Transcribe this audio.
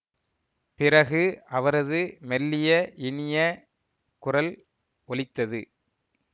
பிறகு அவரது மெல்லிய இனிய குரல் ஒலித்தது